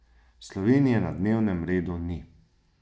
Slovenije na dnevnem redu ni.